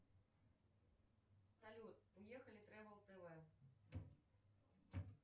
салют ехали трэвал тв